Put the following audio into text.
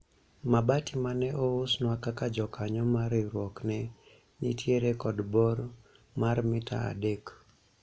mabati mane ousnwa kaka jokanyo mar riwruok ne nitiere kod bor mar mita adek